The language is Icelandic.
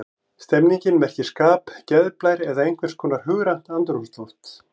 Stemning merkir skap, geðblær eða einhvers konar hugrænt andrúmsloft.